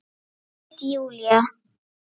Það veit Júlía.